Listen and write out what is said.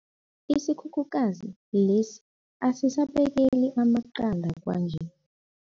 Isikhukhukazi lesi asisabekeli amaqanda kwanje.